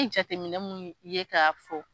I jateminɛ munnu ye k'a fɔ.